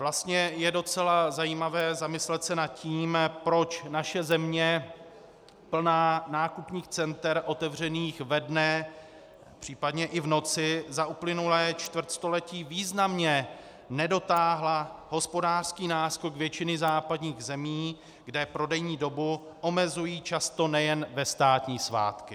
Vlastně je docela zajímavé zamyslet se nad tím, proč naše země plná nákupních center otevřených ve dne, případně i v noci, za uplynulé čtvrtstoletí významně nedotáhla hospodářský náskok většiny západních zemí, kde prodejní dobu omezují často nejen ve státní svátky.